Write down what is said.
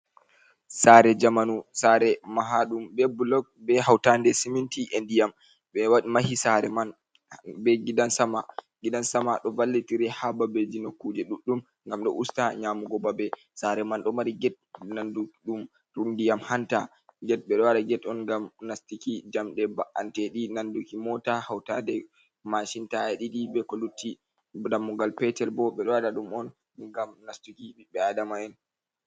Sare jamanu, sare mahaɗum be bulog be hautaɗe siminti e ndiyam, ɓe wad mahi sare man be gidan sama ɗo vallitire ha babeji nokuje ɗuɗɗum ngam ɗo usta nyamugo babe, sare man ɗo mari get nandu ɗum ndiyam hanta, get ɓe ɗo waɗa get on ngam nastuki jamɗe ba’antedi nanduki mota, hautaɗe mashin taya ɗiɗi, be ko lutti, dammugal petel bo ɓe ɗo waɗa ɗum on ngam nastuki ɓiɓɓe el adama'en.